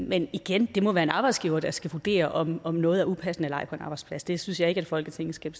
men igen det må være arbejdsgiveren der skal vurdere om om noget er upassende eller ej på en arbejdsplads det synes jeg ikke at folketinget skal